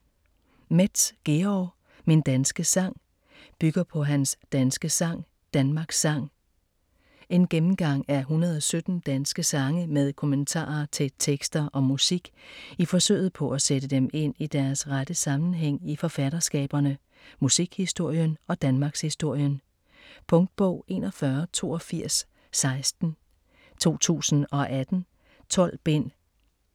Metz, Georg: Min danske sang Bygger på hans Den danske sang, Danmarks sang. En gennemgang af 117 danske sange med kommentarer til tekster og musik i forsøget på at sætte dem ind i deres rette sammenhæng i forfatterskaberne, musikhistorien og danmarkshistorien. Punktbog 418216 2018. 12 bind.